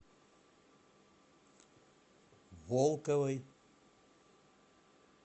волковой